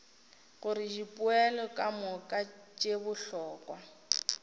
gore dipoelo kamoka tše bohlokwa